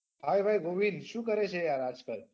hey ભાઈ ધ્રુવિન શું કરે છે આજ કાલ?